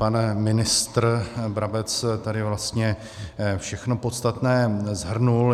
Pan ministr Brabec tady vlastně všechno podstatné shrnul.